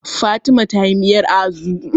Fatima ta yi miyar Azu